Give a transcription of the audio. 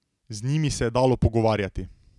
Z njimi se je dalo pogovarjati.